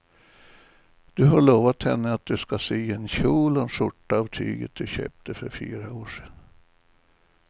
Du har lovat henne att du ska sy en kjol och skjorta av tyget du köpte för fyra år sedan.